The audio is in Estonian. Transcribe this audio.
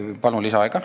Palun lisaaega!